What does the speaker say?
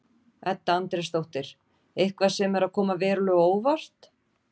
Edda Andrésdóttir: Eitthvað sem er að koma verulega á óvart?